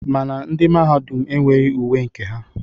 Mana ndị Mahadum enweghi uwe nke ha.